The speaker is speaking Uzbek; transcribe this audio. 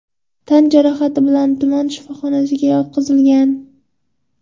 tan jarohati bilan tuman shifoxonasiga yotqizilgan.